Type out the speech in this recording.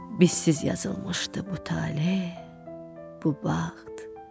Biz siz yazılmışdı bu tale, bu bəxt.